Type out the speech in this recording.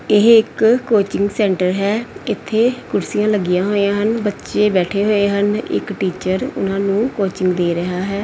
ਇਹ ਇੱਕ coaching centre ਹੈ ਇੱਥੇ ਕੁਰਸੀਆਂ ਲੱਗੀਆਂ ਹੋਈਆਂ ਹਨ ਬੱਚੇ ਬੈਠੇ ਹੋਏ ਹਨ ਇੱਕ ਟੀਚਰ ਉਹਨਾਂ ਨੂੰ ਕੋਚਿੰਗ ਦੇ ਰਿਹਾ ਹੈ।